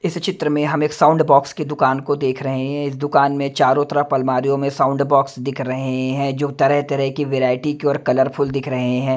इस चित्र में हम एक साउंड बॉक्स की दुकान को देख रहे हैं इस दुकान में चारों तरफ अलमारियों में साउंड बॉक्स दिख रहे हैं जो तरह तरह की वैरायटी की और कलरफुल दिख रहे हैं।